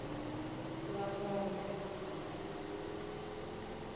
lwamondo